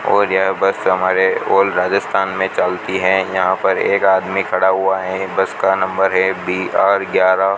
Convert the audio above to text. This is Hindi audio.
और यहां बस हमारे ऑल राजस्थान में चलती हैं यहां पर एक आदमी खड़ा हुआ है बस का नंबर है बी_आर ग्यारह --